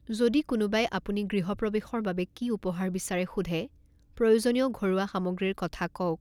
যদি কোনোবাই আপুনি গৃহপ্ৰৱেশৰ বাবে কি উপহাৰ বিচাৰে সোধে, প্ৰয়োজনীয় ঘৰুৱা সামগ্ৰীৰ কথা কওক।